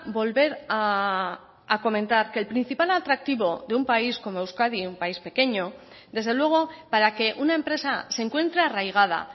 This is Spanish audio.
volver a comentar que el principal atractivo de un país como euskadi un país pequeño desde luego para que una empresa se encuentre arraigada